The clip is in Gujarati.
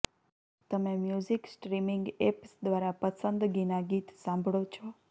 તમે મ્યૂઝિક સ્ટ્રીમિંગ એપ્સ દ્વારા પસંદગીના ગીત સાંભળો છો